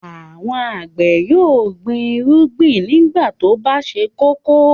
Àwọn àgbẹ̀ yóò gbin ìrúgbìn nígbà tó bá ṣe kókó.